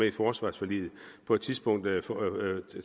i forsvarsforliget på et tidspunkt